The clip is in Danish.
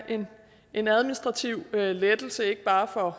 en administrativ lettelse ikke bare for